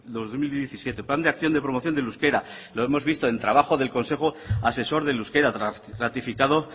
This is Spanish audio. dos mil diecisiete plan de acción de promoción del euskera lo hemos visto en el trabajo del consejo asesor del euskera ratificado